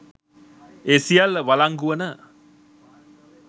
ඒ සියල්ල වලංගු වන